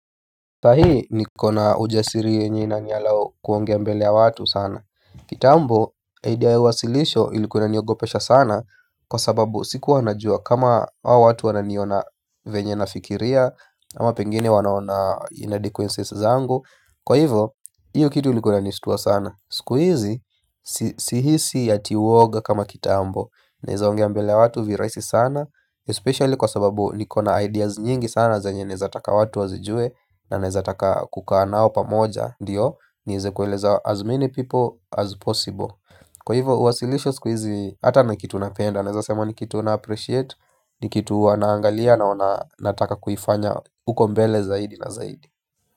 Saa hiii niko na ujasiri yenye ina allow kuongea mbele ya watu sana. Kitambo idea ya uwasilisho ilikua inaniogopesha sana. Kwa sababu sikuwa najua kama hawa watu wananiona venye nafikiria ama pengine wanaona inadequences zangu. Kwa hivyo, hiyo kitu ilikuwa inanishitua sana. Siku hizi, sihisi ati uoga kama kitambo, naweza ongea mbele ya watu virahisi sana Especially kwa sababu niko na ideas nyingi sana zenye naweza taka watu wazijue na neweza taka kukaa nao pamoja ndiyo niweze kueleza as many people as possible. Kwa hivyo uwasilisho siku hizi hata ni kitu napenda naweza sema ni kitu na appreciate, ni kitu huwa naangalia naona nataka kuifanya huko mbele zaidi na zaidi.